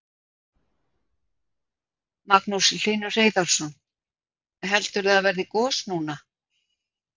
Magnús Hlynur Hreiðarsson: Heldurðu að verði gos núna?